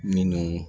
Minnu